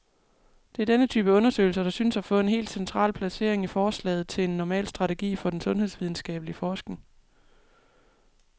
Det er denne type undersøgelser, der synes at få et helt central placering i forslaget til en normal strategi for den sundhedsvidenskabelig forskning.